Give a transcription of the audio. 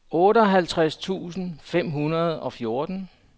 otteoghalvtreds tusind fem hundrede og fjorten